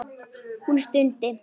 Hún stundi.